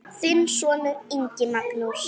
Þinn sonur, Ingi Magnús.